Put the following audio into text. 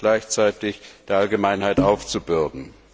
gleichzeitig der Allgemeinheit aufzubürden.